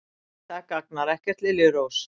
Nei, það gagnar ekkert, liljurós.